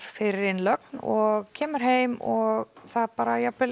fyrir innlögn og kemur heim og það bara jafnvel